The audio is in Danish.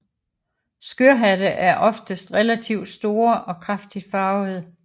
Skørhatte er oftest relativt store og kraftigt farvede